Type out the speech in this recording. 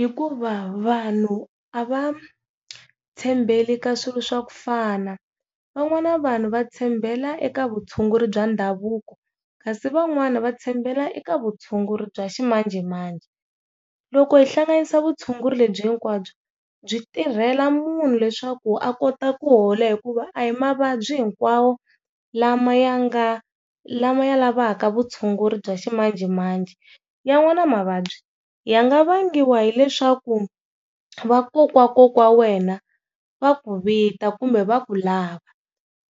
Hikuva vanhu a va tshembeli ka swilo swa kufana van'wana vanhu va tshembela eka vutshunguri bya ndhavuko kasi van'wani va tshembela eka vutshunguri bya ximanjhemanjhe. Loko hi hlanganisa vutshunguri lebyi hinkwabyo byi tirhela munhu leswaku a kota ku hola hikuva a hi mavabyi hinkwawo lama ya nga lama ya lavaka vutshunguri bya ximanjhemanjhe ya n'wana mavabyi ya nga vangiwa hileswaku vakokwawakokwana wena va ku vita kumbe va ku lava,